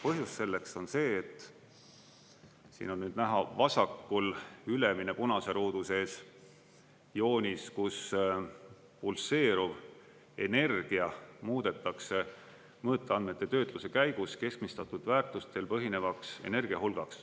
Põhjus selleks on see, siin on nüüd näha vasakul, ülemise punase ruudu sees joonis, kus pulseeruv energia muudetakse mõõteandmete töötluse käigus keskmistatud väärtustel põhinevaks energiahulgaks.